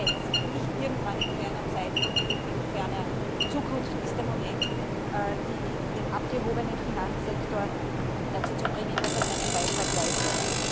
Jetzt und nicht irgendwann in ferner Zukunft ist der Moment, den abgehobenen Finanzsektor dazu zu bringen, dass er seinen Beitrag leistet.